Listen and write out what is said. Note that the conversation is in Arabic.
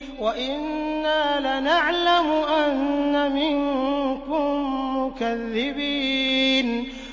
وَإِنَّا لَنَعْلَمُ أَنَّ مِنكُم مُّكَذِّبِينَ